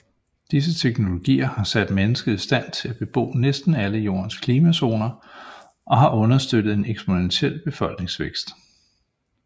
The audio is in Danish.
Disse teknologier har sat mennesket i stand til at bebo næsten alle jordens klimazoner og har understøttet en eksponentiel befolkningsvækst